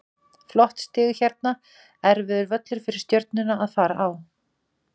Flott stig hérna, erfiður völlur fyrir Stjörnuna að fara á.